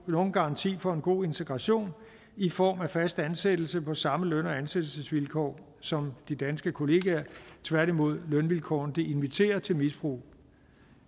nogen garanti for en god integration i form af fast ansættelse på samme løn og ansættelsesvilkår som de danske kollegaer tværtimod lønvilkårene til misbrug